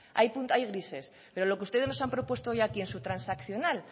hay grises pero lo que ustedes nos han propuesto hoy aquí en su transaccional